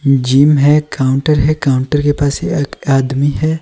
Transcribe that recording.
Gym है counter है counter के पास एक आदमी है।